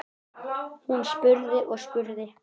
Hún spurði og spurði.